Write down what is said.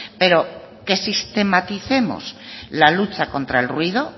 pero que sistematicemos la lucha contra el ruido